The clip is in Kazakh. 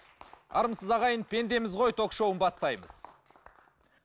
армысыз ағайын пендеміз ғой ток шоуын бастаймыз